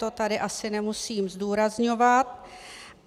To tady asi nemusím zdůrazňovat.